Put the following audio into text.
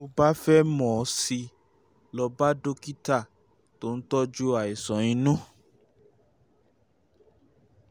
tó o bá fẹ́ mọ̀ sí i lọ bá dókítà um tó ń tọ́jú um àìsàn um inú